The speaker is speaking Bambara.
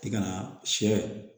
I ka na sɛ